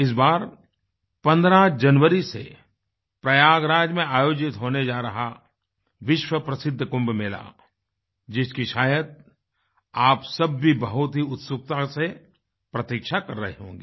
इस बार 15 जनवरी से प्रयागराज में आयोजित होने जा रहा विश्व प्रसिद्ध कुंभ मेला जिसकी शायद आप सब भी बहुत ही उत्सुकता से प्रतीक्षा कर रहे होंगे